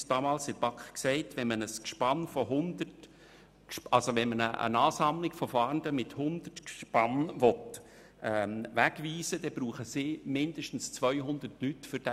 Man sagte uns damals in der BaK, wenn man eine Ansammlung von Fahrenden mit 100 Gespannen wegweisen will, die Polizei für diesen Einsatz mindestens 200 Leute benötige.